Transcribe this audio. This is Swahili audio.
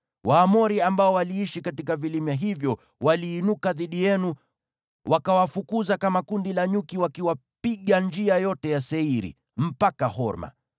Waamori ambao waliishi katika vilima hivyo waliinuka dhidi yenu, wakawafukuza kama kundi la nyuki wakiwapiga njia yote ya Seiri mpaka Horma.